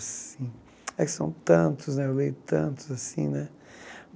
Assim é que são tantos, eu leio tantos assim né.